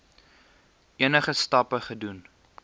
enige stappe gedoen